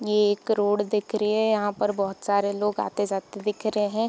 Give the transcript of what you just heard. ये एक रोड दिख रही है यहाँ पर बहुत सारे लोग आते-जाते दिख रहे है।